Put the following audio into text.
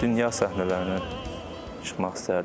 Dünya səhnələrinə çıxmaq istəyərdim.